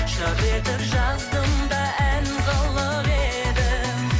жыр етіп жаздым да ән қылып едім